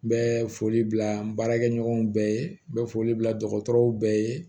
N bɛ foli bila n baarakɛ ɲɔgɔnw bɛɛ ye n bɛ foli bila dɔgɔtɔrɔw bɛɛ ye